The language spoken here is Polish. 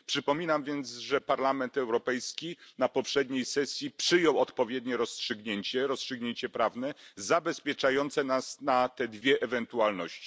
Przypominam więc, że Parlament Europejski na poprzedniej sesji przyjął odpowiednie rozstrzygnięcie, rozstrzygnięcie prawne, zabezpieczające nas na te dwie ewentualności.